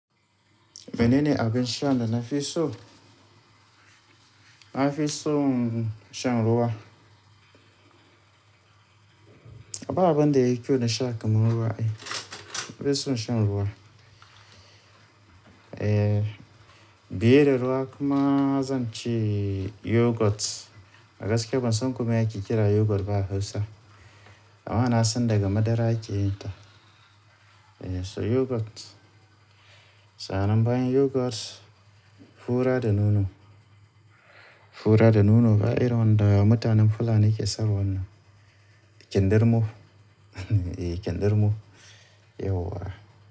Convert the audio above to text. Menene abin sha da na fi so? Na fi son shan ruwa. A ba abinda yayi kyau da sha kaman ruwa e, na fi so shan ruwa. Eh, biye da ruwa kuma zan ci yoghurt. A gaske ban san kome ake kira yoghurt ba a Hausa. Amma na san daga madara ake yin ta. Eh, so yoghurt. Sa'an nan bayan yoghurt, fura da nono. Fura da nono ba'irin wanda mutanen Fulani ke sarwanna. Kyandirmo, eh, kyandirmo. Yauwa.